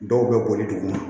Dɔw bɛ boli dugu ma